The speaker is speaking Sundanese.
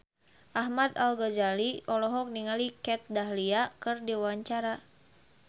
Ahmad Al-Ghazali olohok ningali Kat Dahlia keur diwawancara